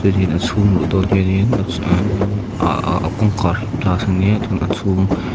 a chhung luh dawn hianin a a a kawngkhar hi glass ania chuan a chhung--